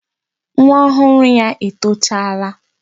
Nwa ọhụrụ ya etochaala.